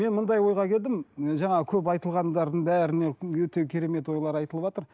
мен ойға келдім ы жаңағы көп айтылғандардың бәріне өте керемет ойлар айтылыватыр